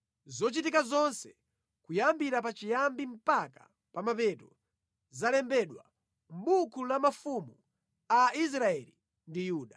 zochitika zonse, kuyambira pachiyambi mpaka pa mapeto, zalembedwa mʼbuku la mafumu a Israeli ndi Yuda.